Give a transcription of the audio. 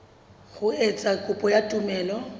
ho etsa kopo ya tumello